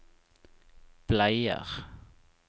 bleier